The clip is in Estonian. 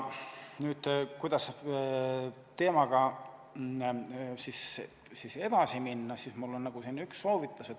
Kuidas teemaga edasi minna, selle kohta on mul üks soovitus.